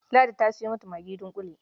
Ladi ta sayo mata magi dunƙule.